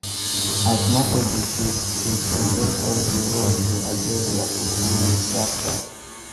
as market dey shake shake investors dey rush to adjust dia portfolios sharpsharp